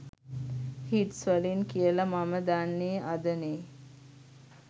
Hits වලින් කියල මම දන්නේ අදනෙ?